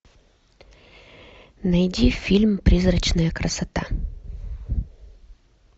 найди фильм призрачная красота